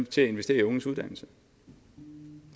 til at investere i unges uddannelse og